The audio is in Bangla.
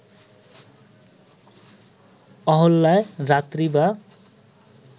অহল্যা রাত্রি বা